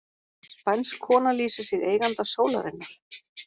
Spænsk kona lýsir sig eiganda sólarinnar